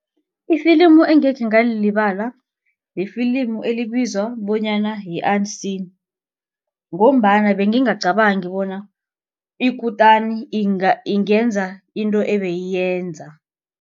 Ifilimi engekhe ngalilibala yifilimi elibizwa bonyana yi- Unseen ngombana bengingacabangi bona ikutani ingenza into ebeyiyinza.